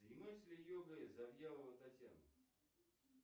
занимается ли йогой завьялова татьяна